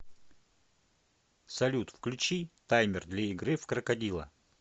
салют включи таймер для игры в крокодила